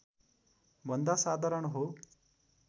भन्दा साधारण हो